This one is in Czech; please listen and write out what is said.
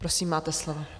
Prosím, máte slovo.